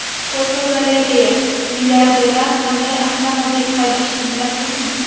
Fotogalereya: Milliarderlar qanday avtomobil haydashini bilasizmi?.